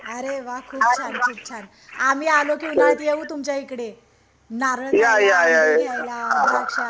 अरे वाह खूप छान खूप छान आम्ही आलो कि उन्हाळ्यात येऊ तुमच्या इकडे नारळ ला द्राक्ष